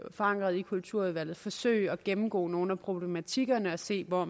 forankret i kulturudvalget forsøgte man at gennemgå nogle af problematikkerne og se hvor